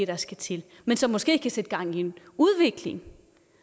der skal til men som måske kan sætte gang i en udvikling